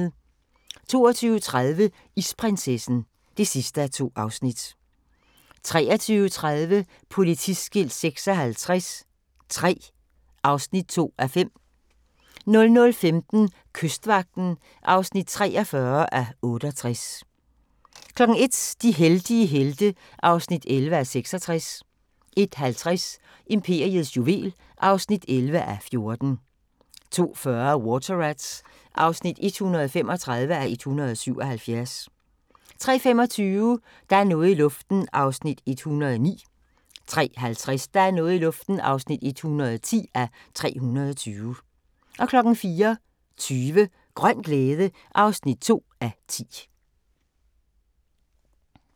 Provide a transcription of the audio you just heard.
22:30: Isprinsessen (2:2) 23:30: Politiskilt 56 III (2:5) 00:15: Kystvagten (43:68) 01:00: De heldige helte (11:66) 01:50: Imperiets juvel (11:14) 02:40: Water Rats (135:177) 03:25: Der er noget i luften (109:320) 03:50: Der er noget i luften (110:320) 04:20: Grøn glæde (2:10)